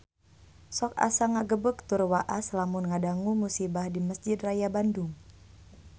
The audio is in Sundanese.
Sok asa ngagebeg tur waas lamun ngadangu musibah di Mesjid Raya Bandung